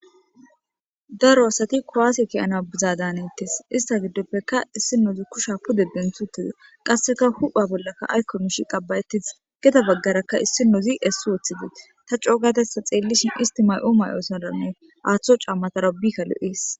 Daro asati kuwase ka'ama biza danetes ista gidopeka isdinozi kusha pude denthi uttides qaseka hupha bollaka ayko mishi qaba'etides gede bagaraka issinozi esi wothides taco gada ista xelishin isti mayo mayozaranne atho camazara wurika lo'es